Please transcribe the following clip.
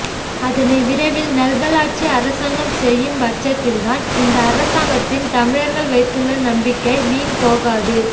அதனை விரைவில் நல்வலாட்சி அரசாங்கம் செய்யும் பட்சத்தில்தான் இந்த அரசாங்கத்தில் தமிழர்கள் வைத்துள்ள நம்பிக்கை வீண்போகாது